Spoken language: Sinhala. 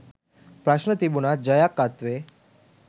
ප්‍රශ්න තිබුණත් ජයක්‌ අත්වේ